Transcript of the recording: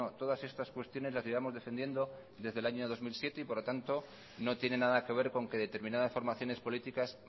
todas estas cuestiones las llevamos defendiendo desde el año dos mil siete y por lo tanto no tiene nada que ver con que determinadas formaciones políticas